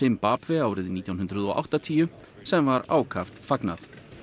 Zimbabwe árið nítján hundruð og áttatíu sem var ákaft fagnað